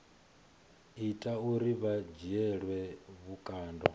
ita uri vha dzhielwe vhukando